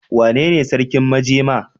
Wanene sarkin majema?